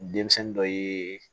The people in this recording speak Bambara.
Denmisɛnnin dɔ ye